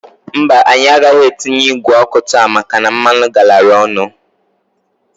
Mbaǃ Anyị agaghị atinye igwe ọkụ taa maka na mmanụ garara ọnụ.